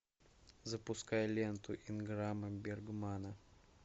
запускай ленту инграма бергмана